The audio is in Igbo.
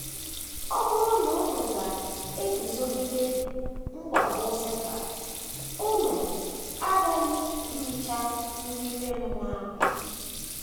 Ọ bụrụ na unu ga - eguzogide mwakpo Setan, unu aghaghị irichi nri ime mmụọ anya.